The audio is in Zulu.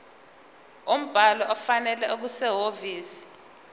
umbhalo ofanele okusehhovisi